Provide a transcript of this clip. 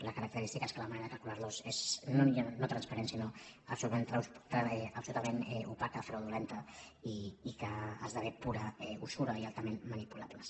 la característica és que la manera de calcular·los és no transparent sinó absolutament opaca fraudulenta i que esdevé pura usura i altament manipulables